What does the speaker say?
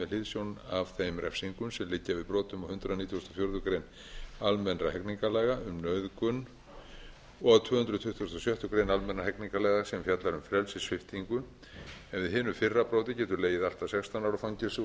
með hliðsjón af þeim refsingum sem liggja við brotum á hundrað nítugasta og fjórðu grein almennra hegningarlaga um nauðgun og tvö hundruð tuttugustu og sjöttu grein almennra hegningarlaga sem fjallar um frelsissviptingu en við hinu fyrra broti getur legið allt að sextán ára fangelsi og hinu